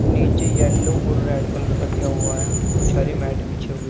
नीचे येलो और red colour का दिया हुआ है। कुछ हरे मैट बिछे हुए --